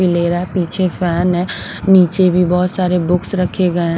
भी ले रहा है पीछे फैन है नीचे भी बहुत सारे बुक्स रखे गए हैं।